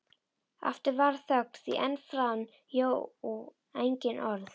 Aftur varð þögn því enn fann Jón engin orð.